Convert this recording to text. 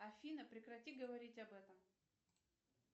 афина прекрати говорить об этом